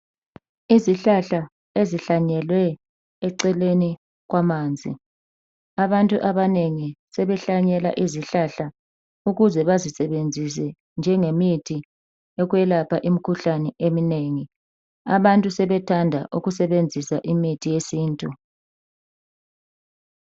izihlahla ezihlanyelwe eceleni kwamanzi abantu abanengi seehlanyela izilahla ukuze bazisebenzise njenge mithi eyokwelapha imikhuhlane eminengi abantu sebethanda ukusebenzisa imithi yesintu